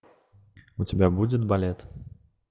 у тебя будет балет